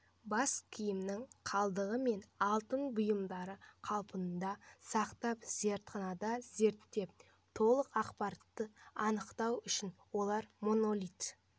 бас киімнің қалдығы мен алтын бұйымдарды қалпында сақтап зертханада зерттеп толық ақпаратты анықтау үшін олар монолит